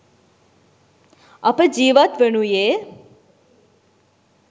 අප ජීවත් වනුයේ